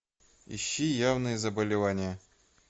ищи явные заболевания